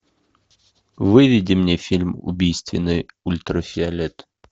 выведи мне фильм убийственный ультрафиолет